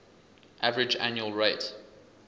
average annual rate